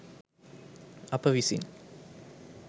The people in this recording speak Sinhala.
අප විසින්